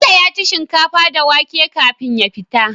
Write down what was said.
Bello yaci shinkafa da wake kafin ya fita